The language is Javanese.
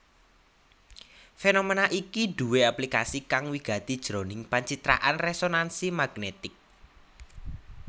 Fénoména iki duwé aplikasi kang wigati jroning pancitraan résonansi magnètik